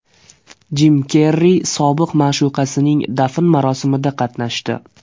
Jim Kerri sobiq ma’shuqasining dafn marosimida qatnashdi .